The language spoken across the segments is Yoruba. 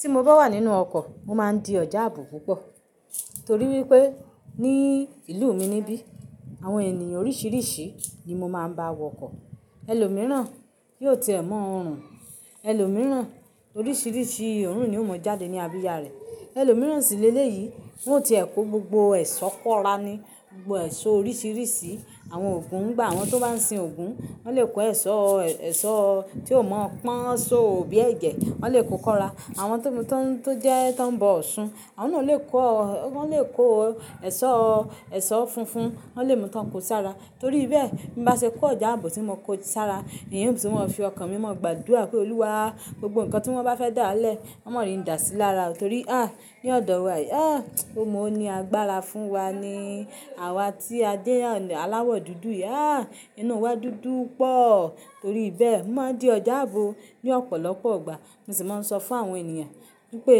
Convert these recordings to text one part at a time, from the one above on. Tí mo bá wà nínú ọkọ̀, mo máa ń di ọjà àbò púpọ̀ torí wípé ní ìlú mi níbí àwọn ènìyàn oríṣiríṣi ni mo máa ń bá wọkọ̀. Ẹlòmíràn kì í ti ẹ̀ mọ́ ọrùn, ẹlòmíràn oríṣiríṣi ọ̀run ni ó mọ jáde ní abiyà rẹ̀. Ẹlòmíràn sì lé lé yìí, wọ́n ò tíì kó gbogbo ẹ̀ṣọ́ kóra ni, gbogbo ẹ̀ṣọ́ oríṣiríṣi. Àwọn ògún ń gba àwọn tó bá ń sin ògún, wọ́n lè kó ẹ̀ṣọ́, ẹ̀ṣọ́ tí ó mọ́ pọ́n, ṣó bí ẹ̀jẹ̀, wọ́n lè kó kóra. Àwọn tó jẹ́ tó ń bọ òsun, àwọn náà lè kó, wọ́n lè kó ẹ̀ṣọ́, ẹ̀ṣọ́ funfun. Wọ́n lè mú tán kó sí ara. Torí bẹ́ẹ̀, bí mo bá ṣe kó ọjà àbò tí mo kó sí ara, eeyun tí wọ́n fi ọkàn mi mó, gbàdúrà pé, "Olúwa, gbogbo nǹkan tí wọ́n bá fẹ́ dá lẹ̀, má ri n dà sí lara." Torí à ní ọ̀dọ̀ wa yìí. À ó mọ ní agbára fún wa ni àwa tí a jẹ́ aláwọ̀ dúdú yìí. À inú wa dúdú pọ̀. Torí bẹ́ẹ̀, máa ń di ọjà àbò ní ọ̀pọ̀lọpọ̀ ọgbà. Mo sì máa ń sọ fún àwọn ènìyàn wípé,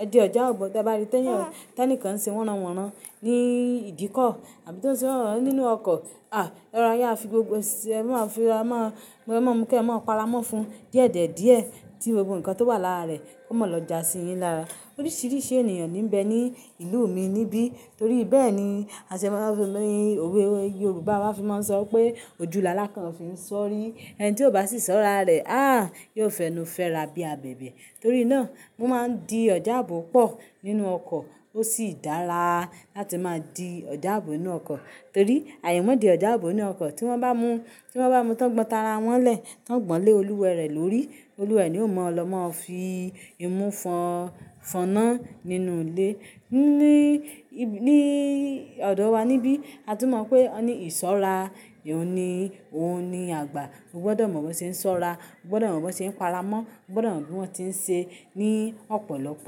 "À di ọjà àbò, bí ẹ bá rí tí ẹnìkan ń ṣe wọ́nran wọ́nran ní ìdíkọ̀ àbí tó ń ṣe wọ́nran nínú ọkọ̀, à ẹ ra i, ẹ fi gbogbo, ẹ máa fi, ẹ máa mú kí ẹ máa para mọ́ fun díẹ̀díẹ̀ ẹ díẹ̀ tí gbogbo nǹkan tó wà lára rẹ̀ kó mọ̀ọ́ lọ jasi yín lára." Oríṣiríṣi ènìyàn ní ń bẹ ní ìlú mi níbí. Torí bẹ́ẹ̀ ni aṣe ẹni òwe Yorùbá wá fi máa ń sọ pé, "Ojúu làálàá kan ò fi ń sọ̀rí, ẹni tí ò bá sì sọ́ra rẹ̀, à yóò fẹnu fẹ́ra bí i abẹ̀bẹ̀." Torí náà mó máa ń di ọjà àbò pọ̀ nínú ọkọ̀. Ó sì dára láti máa di ọjà àbò nínú ọkọ̀ torí aimọ́ dí ọjà àbò nínú ọkọ̀ tí wọ́n bá mú, tí wọ́n bá mu tán gbọn tara wọ́n lẹ̀ tán gbọ̀n lé olúwẹ rẹ̀ lórí. Olúwẹ ni ó máa lọ máa fi imú fọn, fọ́nà nínú ilé. Ni, ní ọ̀dọ̀ wa níbí, a tún mọ̀ pé ọni ìṣọ́ra èun ni, òun ni àgbà. O gbọdọ̀ mọ̀ bí wọ́n ṣe ń sọra, o gbọdọ̀ mọ̀ bí wọ́n ṣe ń para mọ́, o gbọdọ̀ mọ̀ bí wọ́n tí ń ṣe ní ọ̀pọ̀lọpọ̀